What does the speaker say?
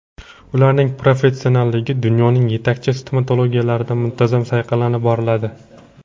Ularning professionalligi dunyoning yetakchi stomatologiyalarida muntazam sayqallanib boriladi.